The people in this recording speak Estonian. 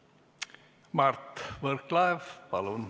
Mart Võrklaev, palun!